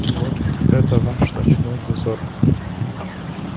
вот это ваш ночной дозор